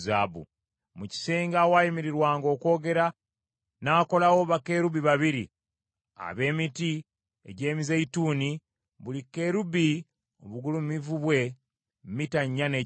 Mu kisenge awaayimirirwanga okwogera n’akolawo bakerubi babiri ab’emiti egy’emizeeyituuni, buli kerubi obugulumivu bwe mita nnya n’ekitundu.